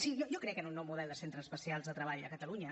sí jo crec en un nou model de centres especials de treball a catalunya